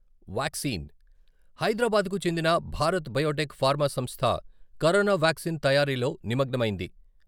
హైదరాబాద్‌కు చెందిన Bharat biotech pharma సంస్థ కరోనా వ్యాక్సిన్ తయారీలో నిమగ్నమైంది.